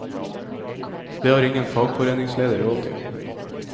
Det har ingen fagforeningsleder råd til.